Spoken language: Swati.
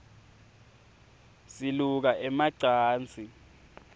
siluka ema cansi